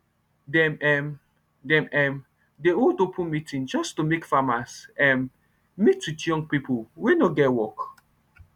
dem um dem um dey hold open meeting jus to make farmers um meet with young pipo wey nor get work